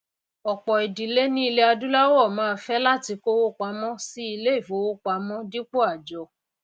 òpò ìdílé ní ilè adúláwò máá fé láti kówó pamó sí ilé ìfowópamó dípò àjọ